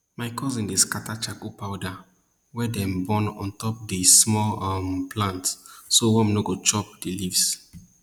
my cousin dey scatter charcoal powder wey dem burn on top di small um plants so worms no go chop di leaves